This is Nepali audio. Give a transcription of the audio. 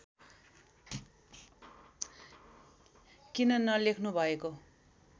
किन नलेख्नु भएको